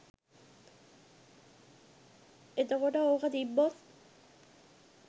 එතකොට ඕක තිබ්බොත්